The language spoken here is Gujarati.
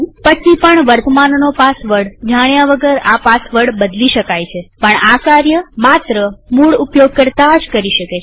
પછી પણ વર્તમાનનો પાસવર્ડ જાણ્યા વગર આ પાસવર્ડ બદલી શકાયપણ આ કાર્ય માત્ર મૂળ ઉપયોગકર્તા જ કરી શકે છે